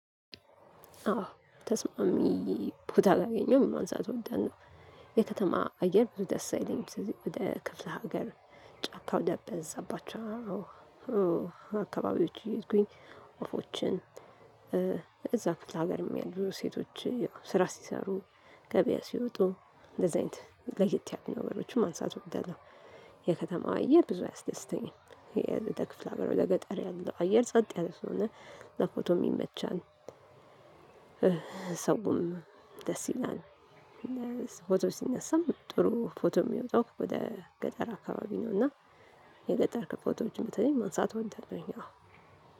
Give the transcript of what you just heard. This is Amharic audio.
አዎ ተስማሚ ቦታ አላገኘሁም። ማንሳት ወደናው የከተማ አየር ብዙ ደስ አይለኝም። ስለዚህ ወደ ክፍለ ሀገር ጫካ ወደ በዛባቸው አካባቢዎች እየሄድኩኝ ወፎችን። እዛ ክፍለ ሀገርም ያሉ ሴቶች ስራ ሲሰሩ። ገበያ ሲወጡ እንደዚህ አይነት ለየት ያሉ ነገሮችን ማንሳት እወዳለሁው። የከተማው አየር ብዙ አያስደስተኝም። የክፍለ ሀገር ወደ ገጠር ያለው አየር ጸጥ ያለው ስለሆነ ለፎቶ ይመቻል። ሰውም ደስ ይላል። ፎቶ ሲነሳም ጥሩ ፎቶ የሚወጣው ወደ ገጠር አካባቢ ነው። እና የገጠር ከፎቶዎች በተለይ ማንሳት እወዳለሁኝ። አዎ